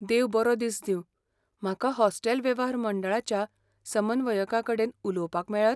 देव बरो दीस दिंव, म्हाका हॉस्टेल वेव्हार मंडळाच्या समन्वयकाकडेन उलोवपाक मेळत?